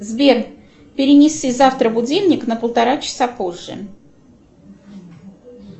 сбер перенеси завтра будильник на полтора часа позже